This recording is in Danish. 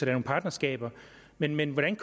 nogle partnerskaber men men hvordan